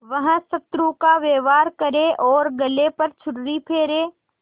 वह शत्रु का व्यवहार करे और गले पर छुरी फेरे